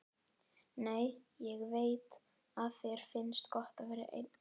Nei, ég veit að þér finnst gott að vera ein.